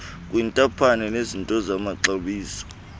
kwintaphane yezinto zamaxabiso